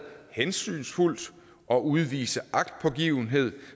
hensynsfuldt og udvise agtpågivenhed